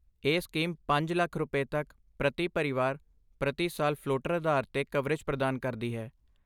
ਇਹ ਸਕੀਮ ਪੰਜ ਲੱਖ ਰੁਪਏ, ਤੱਕ ਪ੍ਰਤੀ ਪਰਿਵਾਰ ਪ੍ਰਤੀ ਸਾਲ, ਫ਼ਲੋਟਰ ਆਧਾਰ 'ਤੇ ਕਵਰੇਜ ਪ੍ਰਦਾਨ ਕਰਦੀ ਹੈ